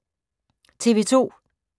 TV 2